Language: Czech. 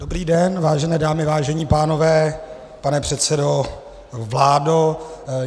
Dobrý den vážené dámy, vážení pánové, pane předsedo, vládo.